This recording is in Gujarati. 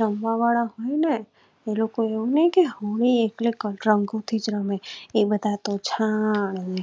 રમવા વાળા એ લોકો એવું નહિ કે હોળી એટલે રંગો થી રમે એ બધા તોહ છાણ ને